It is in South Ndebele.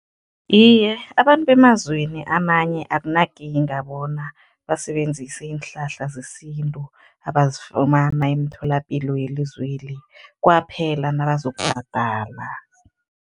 Iye, abantu bemazweni amanye akunakinga bona basebenzise iinhlahla zesintu abazifumana emitholapilo yelizweli, kwaphela nabazokubhadala.